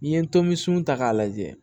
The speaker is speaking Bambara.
N'i ye tomi sun ta k'a lajɛ